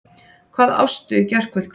Hvað ástu í gærkvöldi?